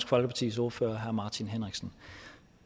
folkepartis ordfører herre martin henriksen